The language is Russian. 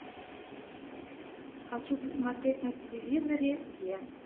хочу посмотреть на телевизоре е